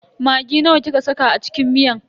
Maggi nawa kika saka a cikin miyan?